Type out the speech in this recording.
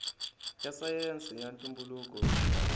ya sayense ya ntumbuluko xi